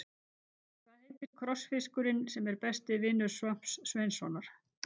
Hvað heitir krossfiskurinn sem er besti vinur Svamps Sveinssonar?